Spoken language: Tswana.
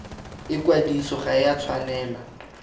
ikwadiso ga e a tshwanela